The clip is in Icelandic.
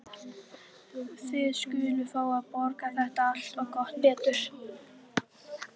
Þið skuluð fá að borga þetta allt. og gott betur!